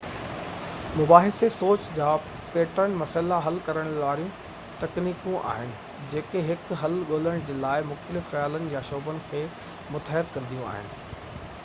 مباحثي سوچ جا پيٽرن مسئلا حل ڪرڻ واريون تڪنيڪون آهن جيڪي هڪ حل ڳولڻ جي لاءِ مختلف خيالن يا شعبن کي متحد ڪنديون آهن